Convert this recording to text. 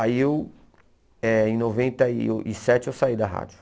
Aí eu, eh em noventa e uh e sete, eu saí da rádio.